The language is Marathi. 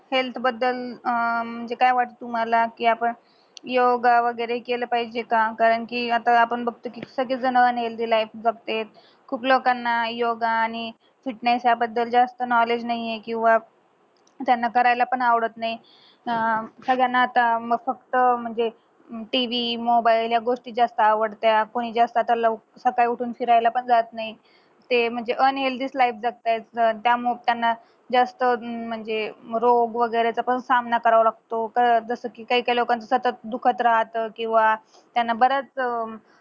सकाळी उठून फिरायला पण जात नाही ते म्हणजे unhealthy च life जगतायेत अं त्यामुळे त्यांना जास्त हम्म म्हणजे रोग वैगरे चा पण सामना करावा लागतो जस कि काय काय लोकांचं सतत दुखत राहत किंवा त्यांना बऱ्याच अं